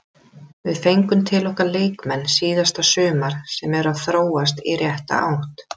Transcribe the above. Við fengum til okkar leikmenn síðasta sumar sem eru að þróast í rétta átt.